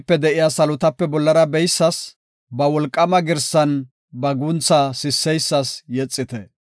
Benipe de7iya salotape bollara beyisas; ba wolqaama girsan ba guntha sisseysas yexite.